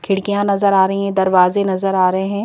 खिड़कियां नजर आ रही हैं दरवाजे नजर आ रहे हैं।